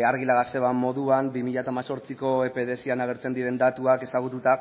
argi esan zuen moduan bi mila hemezortziko datuak ezagututa